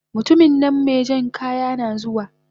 mutuminnan mejan kaya nazuwa